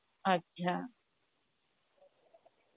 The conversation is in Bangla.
আচ্ছা